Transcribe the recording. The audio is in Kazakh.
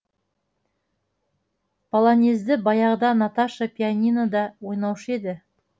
полонезді баяғыда наташа пианинода ойнаушы еді